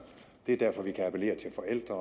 det er derfor vi kan appellere til forældre